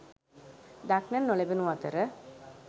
දක්නට නොලැබුණු අතර